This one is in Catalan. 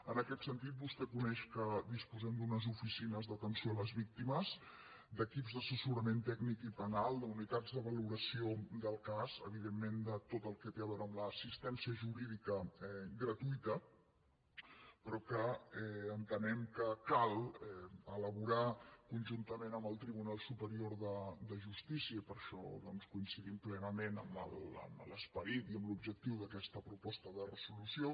en aquest sentit vostè coneix que disposem d’unes oficines d’atenció a les víctimes d’equips d’assessorament tècnic i penal d’unitats de valoració del cas evidentment de tot el que té a veure amb l’assistència jurídica gratuïta però entenem que cal elaborar conjuntament amb el tribunal superior de justícia i per això coincidim plenament amb l’esperit i amb l’objectiu d’aquesta proposta de resolució